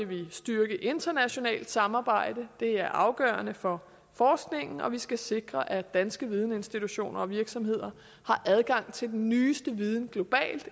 vil vi styrke det internationale samarbejde det er afgørende for forskningen vi skal sikre at danske videninstitutioner og virksomheder har adgang til den nyeste viden globalt